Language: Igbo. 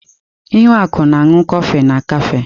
Ihuaku na-aṅụ kọfị na kafe.